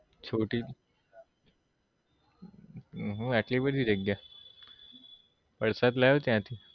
ચોટી હમ આટલી બધી જગ્યા એ પ્રસાદ લાવ્યો ત્યાં થી